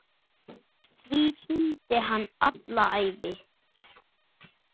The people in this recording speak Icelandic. Því fylgdi hann alla ævi.